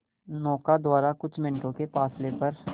नौका द्वारा कुछ मिनटों के फासले पर